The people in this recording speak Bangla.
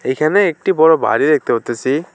এইখানে একটি বড় বাড়ি দেখতে পারতেসি।